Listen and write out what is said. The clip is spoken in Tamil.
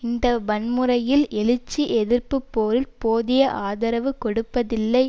இந்த வன்முறையில் எழுச்சி எதிர்ப்பு போரில் போதிய ஆதரவு கொடுப்பதில்லை